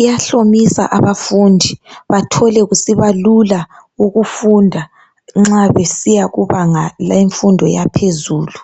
iyahlomisa abafundi bathole kusiba lula ukufunda nxa besiya kubanga lemfundo yaphezulu